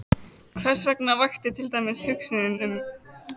Hversvegna vakti til dæmis hugsunin um